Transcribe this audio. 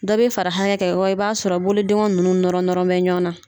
Dɔ bɛ fara i b'a sɔrɔ bolo dengonuw nunnu nɔrɔ nɔrɔ bɛ ɲɔgɔn na.